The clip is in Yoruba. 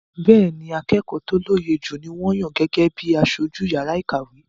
Bẹ́ẹ́ni, akẹ́kọ̀ọ́ tó lóye jù ni wọ́n yàn gẹ́gẹ́ bí i aṣojú yàrá ìkàwé.